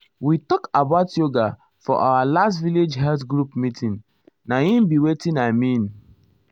we talk about yoga for our last village health group meeting. na im be wetin i mean.